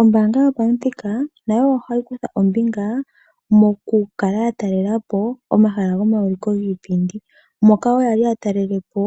Ombaanga yopamuthika nayo ohayi kutha ombinga moku kala ya talela po omahala gomawuliko giipindi moka wo yali ya talele po